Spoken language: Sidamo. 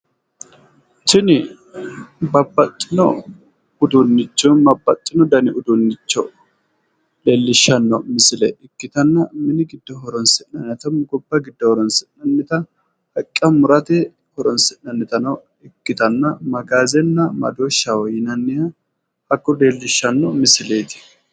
Tini babbaxxino uduunnicho babbaxino dani uduunnicho leellishshanno misile ikkitanna mini giddo horoonsi'nanni hattono gobba giddo horoonsi'nannita haqqe murate horoonsi'nannitano ikkitanna magaazenna madooshaho yinanniha hakkoye leellishanno misileeti.